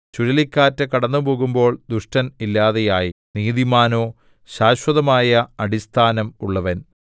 ചുഴലിക്കാറ്റ് കടന്നുപോകുമ്പോൾ ദുഷ്ടൻ ഇല്ലാതെയായി നീതിമാനോ ശാശ്വതമായ അടിസ്ഥാനം ഉള്ളവൻ